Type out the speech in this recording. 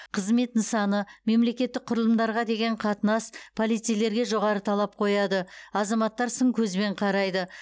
қызмет нысаны мемлекеттік құрылымдарға деген қатынас полицейлерге жоғары талап қояды азаматтар сын көзбен қарайды